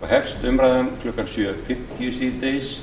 og hefst umræðan klukkan sjö fimmtíu síðdegis